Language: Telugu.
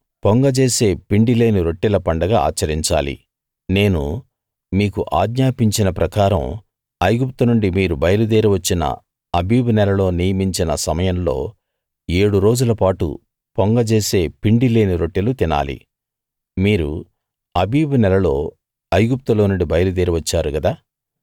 పొంగజేసే పిండి లేని రొట్టెల పండగ ఆచరించాలి నేను మీకు ఆజ్ఞాపించిన ప్రకారం ఐగుప్తునుండి మీరు బయలుదేరి వచ్చిన ఆబీబు నెలలో నియమించిన సమయంలో ఏడు రోజులపాటు పొంగజేసే పిండి లేని రొట్టెలు తినాలి మీరు అబీబు నెలలో ఐగుప్టులో నుండి బయలుదేరి వచ్చారు గదా